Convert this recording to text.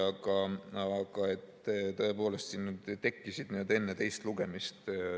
Aga tõepoolest, sinna tekkis neid enne teist lugemist.